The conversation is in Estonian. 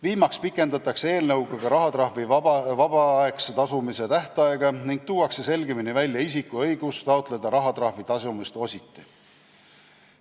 Viimaseks pikendatakse eelnõuga ka rahatrahvi vabatahtliku tasumise tähtaega ning tuuakse selgemini välja isiku õigus taotleda rahatrahvi tasumist ositi.